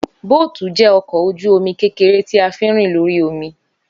Bóótù jẹ́ ọkọ̀ ojú omi kékeré tí a fín rìn lórí omi